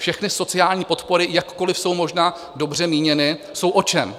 Všechny sociální podpory, jakkoliv jsou možná dobře míněny, jsou o čem?